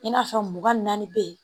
I n'a fɔ mugan ni naani bɛ yen